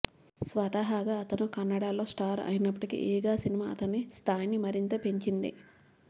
స్వతహాగా అతను కన్నడలో స్టార్ అయినప్పటికీ ఈగ సినిమా అతని స్థాయిని మరింత పెంచింది